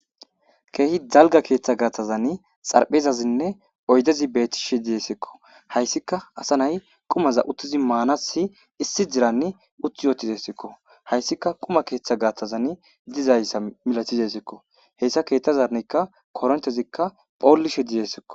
Kedhi dalgga keethth gaaththazan xaraphezazinee oyddezi beettishe desiko. Hayssika asa nay qumaza uttidi maanasi issi ziiran uttidi deesiko. Hayssika quma keeththa gaththazani malatidesiko. Hessa keeththazankka koranchazikka dhollishe dizayssakko.